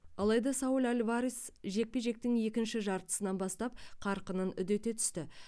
алайда сауль альварес жекпе жектің екінші жартысынан бастап қарқынын үдете түсті